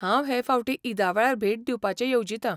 हांव हे फावटी ईदा वेळार भेट दिवपाचें येवजितां .